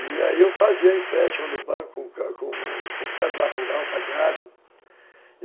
E aí eu fazia empréstimo no banco com cédula rural pagado.